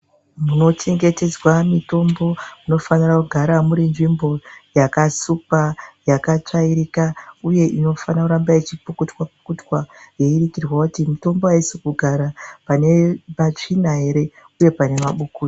Munochengetedzwa mitombo munofanira kugara iri nzvimbo yakasukwa yakatsvairika, uye inofana kuramba ichipukutwa-pukutwa. Yeiitirwa kuti mitombo haisi kugara pane patsvina ere, uye pane mabukuta.